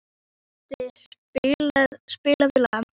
Kiddi, spilaðu lag.